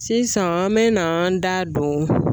Sisan an me na an da don